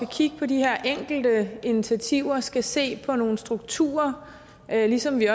kigge på de her enkelte initiativer også skal se på nogle strukturer ligesom vi